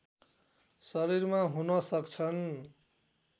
शरीरमा हुन सक्छन्